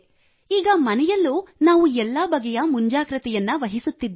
ಈಗ ಮನೆಯಲ್ಲೂ ನಾವು ಎಲ್ಲ ಬಗೆಯ ಮುಂಜಾಗೃತೆ ವಹಿಸುತ್ತಿದ್ದೇವೆ